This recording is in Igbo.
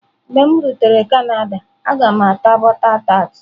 Mgbe m rutere Canada, a ga m ata butter tart.